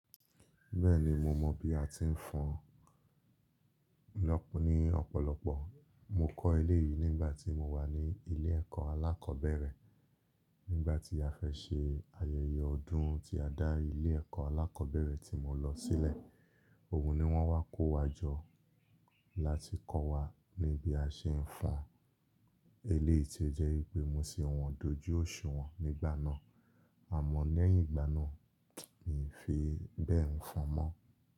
Bẹ́ẹ̀ni mo mọ bí a ti ń fọn lọ́pọ̀ ní ọ̀pọ̀lọpọ̀. Mo kọ́ ilé yìí nígbà tí mo wà ní ilé ẹ̀kọ́ alákọ̀ọ́bẹ̀rẹ̀ nígbà tí a fẹ́ ṣe ayẹyẹ ọdún tí a dá ilé ẹ̀kọ́ alákọ̀ọ́bẹ̀rẹ̀ tí mo lọ sílẹ̀. Òun ni wón wá kó wa jọ láti kọ́ wa ní bí a ṣe ń fọn ilé yìí tí ó jẹ́ wípé mo sì wọn dojú osunwọn nígbà náà. Àmọ́ ní ẹ̀yìn ìgbà náà, mi ì fi bẹ́ẹ̀ ń fọn mọ́.